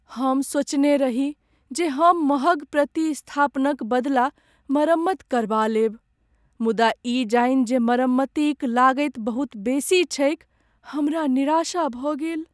हम सोचने रही जे हम महग प्रतिस्थापनक बदला मरम्मत करबा लेब, मुदा ई जानि जे मरम्मतिक लागति बहुत बेसी छैक, हमरा निराशा भऽ गेल।